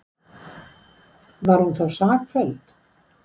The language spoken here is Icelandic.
Var hún því sakfelld